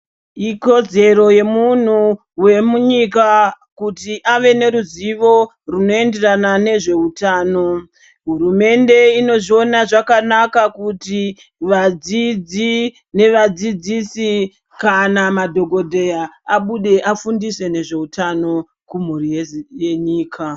Ikodzero yemunhu wemunyika kuti ave neruzivo runoenderana nezveutano, hurumende inozviona zvakanaka kuti vadzidzi nevadzidzisi kana madhokodheya abude afundise nezveutano kumhuri yenyika.